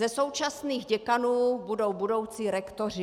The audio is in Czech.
Ze současných děkanů budou budoucí rektoři.